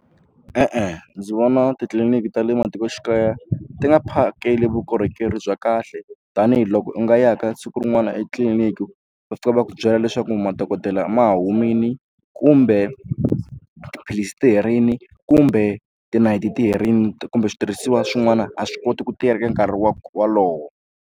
E-e, ndzi vona titliliniki ta le matikoxikaya ti nga phakeli vukorhokeri bya kahle tanihiloko u nga ya ka siku rin'wana etliliniki va fika va ku byela leswaku mati dokodela ma humile kumbe tiphilisi ti herile kumbe tinayiti ti herile kumbe switirhisiwa swin'wana a swi koti ku tirha ka nkarhi wa wolowo.